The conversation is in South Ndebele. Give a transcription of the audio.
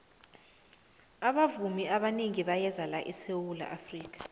abavumi abanengi bayeza la esawula afrika